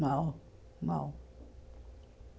Mal, mal.